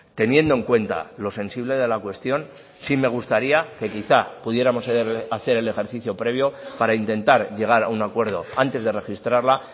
teniendo en cuenta lo sensible de la cuestión sí me gustaría que quizá pudiéramos hacer el ejercicio previo para intentar llegar a un acuerdo antes de registrarla